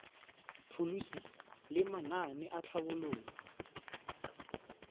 pholisi le manane a tlhabololo